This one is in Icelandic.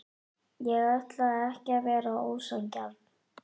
Ég ætlaði ekki að vera ósanngjarn.